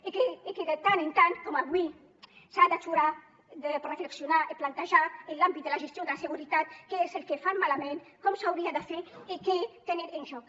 i que de tant en tant com avui s’ha d’aturar per reflexionar i plantejar en l’àmbit de la gestió de la seguretat què és el que fan malament com s’hauria de fer i què tenen en joc